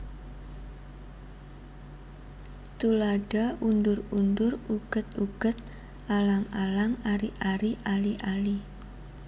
Tuladha undur undur uget uget alang alang ari ari ali ali